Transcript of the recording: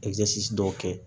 dɔw kɛ